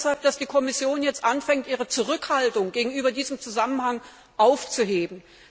Ich freue mich deshalb, dass die Kommission jetzt anfängt, ihre Zurückhaltung gegenüber diesem Zusammenhang aufzugeben.